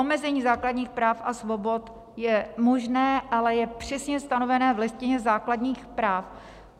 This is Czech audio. Omezení základních práv a svobod je možné, ale je přesně stanovené v Listině základních práv.